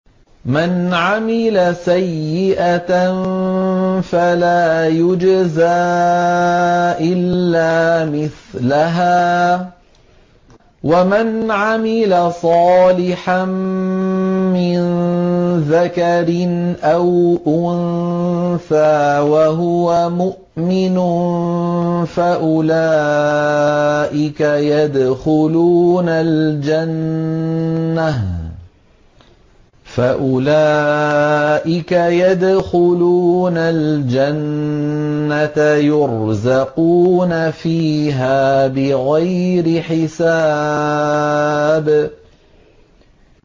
مَنْ عَمِلَ سَيِّئَةً فَلَا يُجْزَىٰ إِلَّا مِثْلَهَا ۖ وَمَنْ عَمِلَ صَالِحًا مِّن ذَكَرٍ أَوْ أُنثَىٰ وَهُوَ مُؤْمِنٌ فَأُولَٰئِكَ يَدْخُلُونَ الْجَنَّةَ يُرْزَقُونَ فِيهَا بِغَيْرِ حِسَابٍ